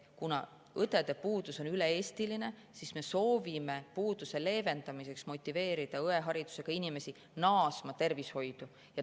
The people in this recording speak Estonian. Kuna õdede puudus on üle Eesti, siis me soovime puuduse leevendamiseks motiveerida õeharidusega inimesi tervishoidu naasma.